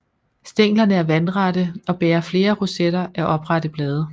Stænglerne er vandrette og bærer flere rosetter af oprette blade